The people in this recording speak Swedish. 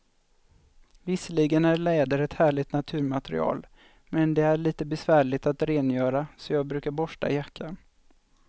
Visserligen är läder ett härligt naturmaterial, men det är lite besvärligt att rengöra, så jag brukar borsta jackan.